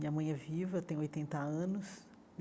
Minha mãe é viva, tem oitenta anos.